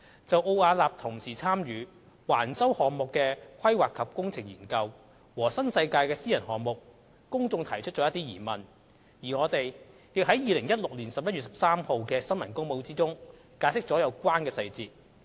就奧雅納同時參與橫洲項目的"規劃及工程"研究和新世界的私人項目，公眾提出了一些疑問，而我們亦在2016年11月13日的新聞公報中解釋了有關的細節。